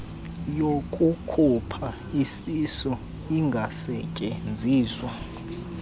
yokukhupha isisu ingasetyenziswa